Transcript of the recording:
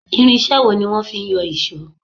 Irinṣé wo ní wọ́n fí ń yọ ìṣọ́?